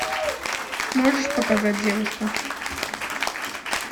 можешь показать девушка